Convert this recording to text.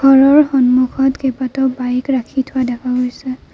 ঘৰৰ সন্মুখত কেইবাটাও বাইক ৰাখি থোৱা দেখা গৈছে।